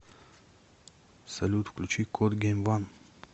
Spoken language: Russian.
салют включи кот гейм ван